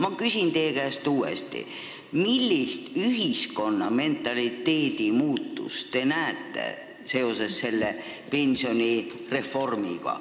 Ma küsin teie käest uuesti, millist ühiskonna mentaliteedi muutust te näete seoses selle pensionireformiga.